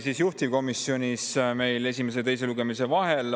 Menetlus juhtivkomisjonis esimese ja teise lugemise vahel.